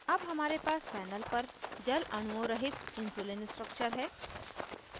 अब हमारे पास panel पर जल अणुओं रहित insulin structure है